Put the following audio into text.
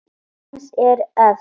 Kim er efst.